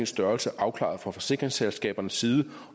størrelse afklaret fra forsikringsselskabernes side